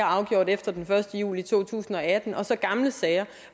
afgjort efter den første juli to tusind og atten og så gamle sager